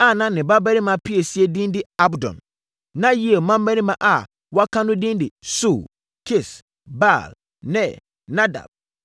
a na ne babarima piesie din de Abdon. Na Yeiel mmammarima a wɔaka no din de Sur, Kis, Baal, Ner, Nadab,